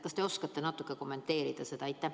Kas te oskate natuke kommenteerida?